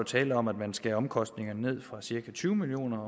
tale om at man skærer omkostningerne ned fra cirka tyve million